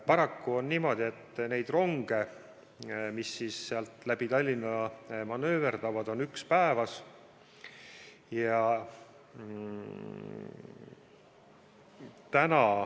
Paraku on niimoodi, et neid ronge, mis läbi Tallinna manööverdavad, on üks päevas.